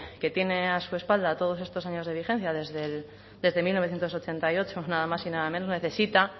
que tiene a su espalda todos estos años de vigencia desde mil novecientos ochenta y ocho nada más y nada menos necesita